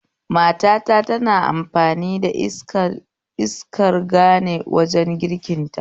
Matata tana amfani da murhun iskar gane wajen girkin ta